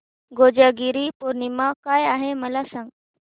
कोजागिरी पौर्णिमा काय आहे मला सांग